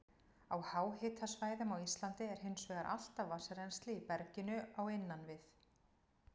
Á háhitasvæðum á Íslandi er hins vegar alltaf vatnsrennsli í berginu á innan við